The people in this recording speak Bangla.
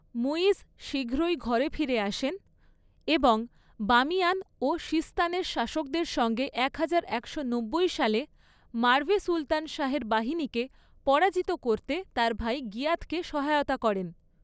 মুইজ শীঘ্রই ঘরে ফিরে আসেন এবং বামিয়ান ও সিস্তানের শাসকদের সঙ্গে একহাজার একশো নব্বই সালে মার্ভে সুলতান শাহের বাহিনীকে পরাজিত করতে তার ভাই গিয়াথকে সহায়তা করেন।